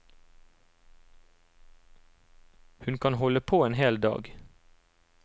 Hun kan holde på en hel dag.